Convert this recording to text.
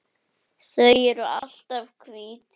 Þau eru alltaf hvít.